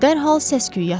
Dərhal səs-küy yatdı.